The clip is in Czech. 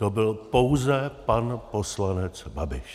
To byl pouze pan poslanec Babiš.